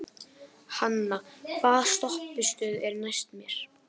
Hanna, hvaða stoppistöð er næst mér?